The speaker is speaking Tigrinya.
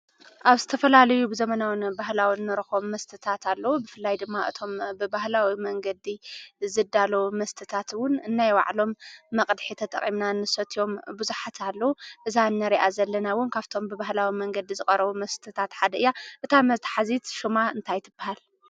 ኣብ ዝተፈላልዩ ብዘመናዊን ባህላዊ ንረኽቦም መስትታት ኣሎ ብፍላይ ድማ እቶም ብባህላዊ መንገዲ ዝዳለዉ መስትታትውን ነናይዋዕሎም መቕድሕ ተጠቐምና ንስትዮም ብዙኃት ኣለዉ እዛ እነርኣ ዘለናውን ካብቶም ብባህላዊ መንገዲ ዝቐረቡ መስትታት ሓድእያ እታ መትኃዚት ሹማ እንታይትብሃል?